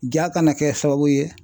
Ja kana kɛ sababu ye